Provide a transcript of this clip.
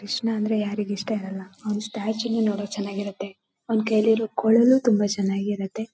ಕೃಷ್ಣ ಅಂದ್ರೆ ಯಾರಿಗೆ ಇಷ್ಟ ಇರಲ್ಲ? ಅವ್ನ್ ಸ್ಟ್ಯಾಚ್ಯೂ ನೂ ನೋಡೋಕ್ ಚೆನ್ನಾಗಿರುತ್ತೆ ಅವ್ನ್ ಕೈಯಲ್ಲಿರೋ ಕೊಳಲು ತುಂಬಾ ಚೆನ್ನಾಗಿರುತ್ತೆ .